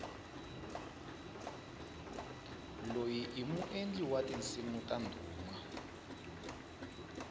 loyi i muendli wa tinsimu ta ndhuma